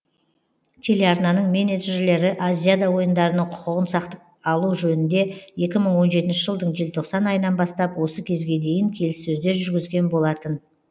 телеарнаның менеджерлері азиада ойындарының құқығын сатып алу жөнінде екі мың он жетінші жылдың желтоқсан айынан бастап осы кезге дейін келіссөздер жүргізген болатын